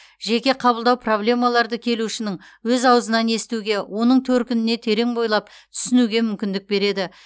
жеке қабылдау проблемаларды келушінің өз ауызынан естуге оның төркініне терең бойлап түсінуге мүмкіндік береді